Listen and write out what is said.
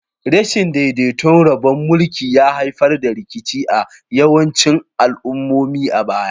Rashin daidaiton rabon mulki ya haifar da rikici a yawancin al'ummomi a baya.